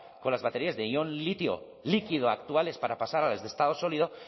con las baterías de ion litio líquido actuales para pasar a las de estado sólido